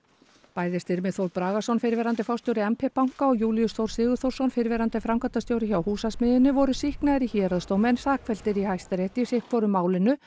bæði Styrmir Þór Bragason fyrrverandi forstjóri m p banka og Júlíus Þór Sigurþórsson fyrrverandi framkvæmdastjóri hjá Húsasmiðjunni voru sýknaðir í héraðsdómi en sakfelldir í Hæstarétti í sitthvoru málinu